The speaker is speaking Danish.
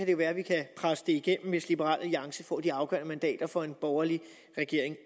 det være at vi kan presse det igennem hvis liberal alliance får de afgørende mandater for en borgerlig regering